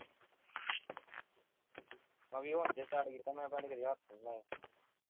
ਮੈਂ ਵੀ ਹੁਣ ਜੇ start ਕੀਤਾ ਮੈਂ ਪਹਿਲਾਂ ਕਦੇ ਹੱਥ ਨੀ ਲਾਇਆ